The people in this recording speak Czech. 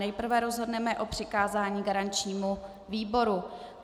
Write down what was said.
Nejprve rozhodneme o přikázání garančnímu výboru.